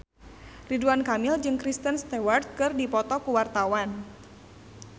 Ridwan Kamil jeung Kristen Stewart keur dipoto ku wartawan